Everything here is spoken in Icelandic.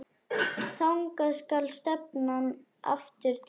Þangað skal stefnan aftur tekin.